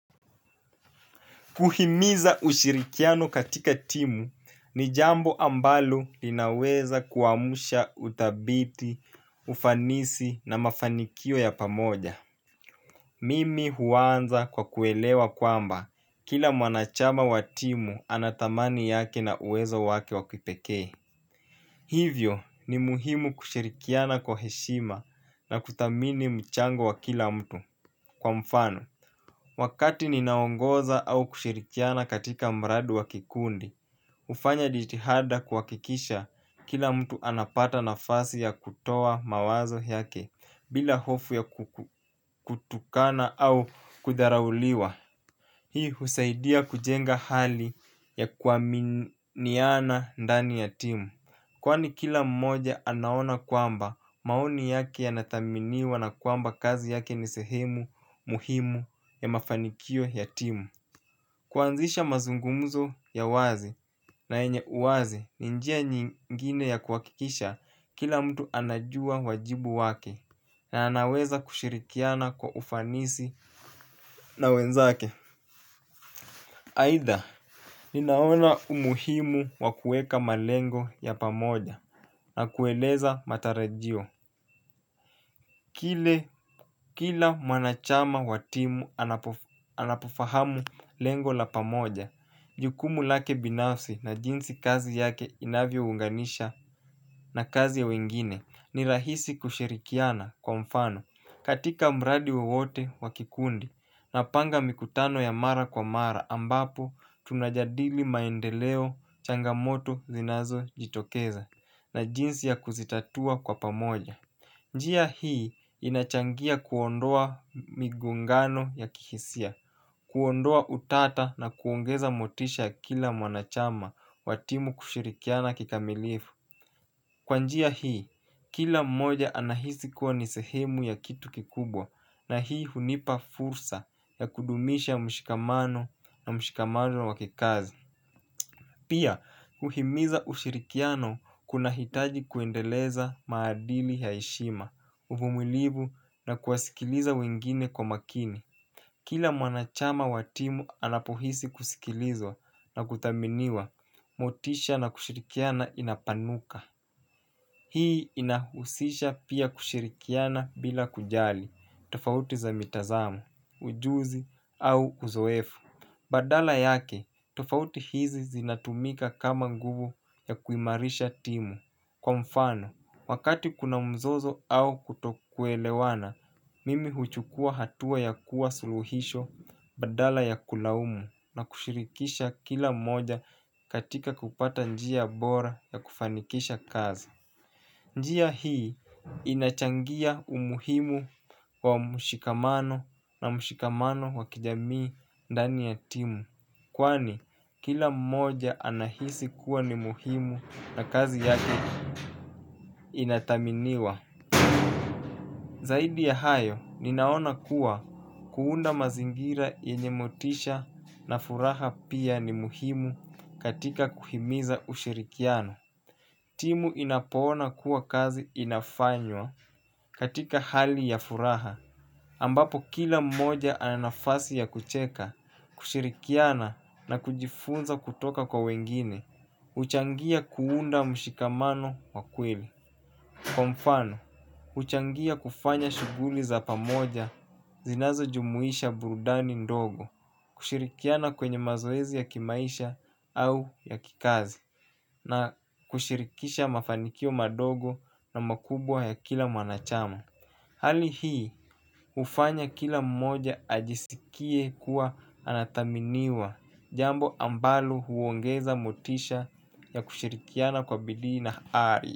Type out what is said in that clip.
Kuhimiza ushirikiano katika timu ni jambo ambalo linaweza kuamusha uthabiti, ufanisi na mafanikio ya pamoja. Mimi huanza kwa kuelewa kwamba kila mwana chama wa timu ana thamani yake na uweza wake wa pekee hivyo ni muhimu kushirikiana kwa heshima na kuthamini mchango wa kila mtu kwa mfano wakati ninaongoza au kushirikiana katika mradi wa kikundi hufanya jitihada kuhakikisha kila mtu anapata nafasi ya kutoa maoni yake bila hofu ya kutukana au kudharauliwa hii husaidia kuleta hali ya kuaminiana ndani ya timu. Kwani kila mmoja anaona kwamba maoni yake yanathaminiwa na kwamba kazi yake ni sehemu muhimu ya mafanikio ya timu. Kuanzisha mazungumuzo ya wazi na yenye uwazi ni njia nyingine ya kuwakikisha kila mtu anajua wajibu wake na anaweza kushirikiana kwa ufanisi na wenzake. Aidha ninaona umuhimu wakueka malengo ya pamoja na kueleza matarajio kile kila mwanachama wa timu anapofahamu lengo la pamoja jukumu lake binafsi na jinsi kazi yake inavyo unganisha na kazi ya wengine ni rahisi kushirikiana kwa mfano. Katika mradi wowote wakikundi na panga mikutano ya mara kwa mara ambapo tunajadili maendeleo changamoto zinazo jitokeza na jinsi ya kuzitatua kwa pamoja. Njia hii inachangia kuondoa migongano ya kihisia. Kuondoa utata na kuongeza motisha ya kila mwanachama wa timu kushirikiana kikamilifu. Kwa njia hii, kila mmoja anahisi kuwa ni sehemu ya kitu kikubwa. Na hii hunipa fursa ya kudumisha mshikamano na mshikamano wa kikazi. Pia, uhimiza ushirikiano kuna hitaji kuendeleza maadili ya heshima, uvumilivu na kuwasikiliza wengine kwa makini. Kila mwanachama wa timu anapohisi kusikilizwa na kuthaminiwa, motisha na kushirikiana inapanuka. Hii inahusisha pia kushirikiana bila kujali, tofauti za mitazamo, ujuzi au uzoefu. Badala yake, tofauti hizi zinatumika kama nguvu ya kuimarisha timu. Kwa mfano, wakati kuna mzozo au kutoku elewana, mimi huchukua hatua ya kuwa suluhisho badala ya kulaumu na kushirikisha kila moja katika kupata njia bora ya kufanikisha kazi. Njia hii inachangia umuhimu wa mushikamano na mshikamano wa kijamii ndani ya timu kwani kila mmoja anahisi kuwa ni muhimu na kazi yake inathaminiwa. Zaidi ya hayo ninaona kuwa kuunda mazingira yenye motisha na furaha pia ni muhimu katika kuhimiza ushirikiano. Timu inapoona kuwa kazi inafanywa katika hali ya furaha, ambapo kila mmoja anafasi ya kucheka, kushirikiana na kujifunza kutoka kwa wengine, huchangia kuunda mshikamano wakwili. Kwa mfano, huchangia kufanya shughuli za pamoja zinazo jumuisha burudani ndogo, kushirikiana kwenye mazoezi ya kimaisha au ya kikazi, na kushirikisha mafanikio madogo na makubwa ya kila mwanachama. Hali hii, hufanya kila mmoja ajisikie kuwa anathaminiwa, jambo ambalo huongeza motisha ya kushirikiana kwa bidii na ari.